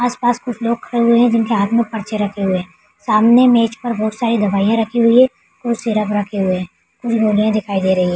आस-पास कुछ लोग खड़े हैं जिनके हाथ में पर्ची रखे हुए है सामने मेज़ पर बहुत सारे दवाइयाँ रखी हुई है और सिरप रखे हुए हैं कुछ दिखाई दे रही है।